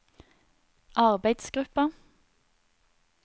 arbeidsgruppa